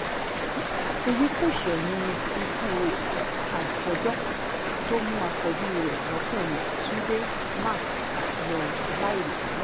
èyí kò ṣẹ̀yìn tí ikú àìtọ́jọ́ tó mú àkọ́bí rẹ̀ lọ́kùnrin túnde mark lọ láì rò tẹ́lẹ̀